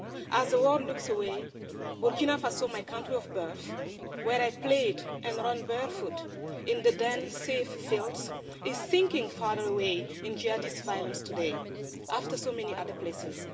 As the world looks away, Burkina Faso my country of birth, where I played and ran barefoot in the then safe fields is sinking far away in Jihadist violence today, after so many other places.